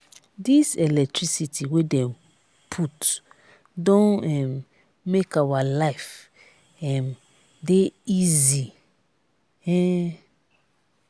dis electricity wey dem put don um make our life dey easy. um